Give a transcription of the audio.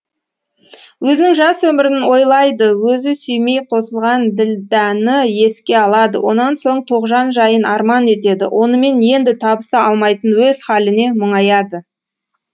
өзінің жас өмірін ойлайды өзі сүймей қосылған ділдәні еске алады одан соң тоғжан жайын арман етеді онымен енді табыса алмайтын өз халіне мүңаяды